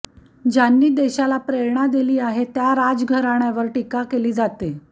ज्यांनी देशाला प्रेरणा दिली आहे त्यां राजघराण्यावर टीका केली जाते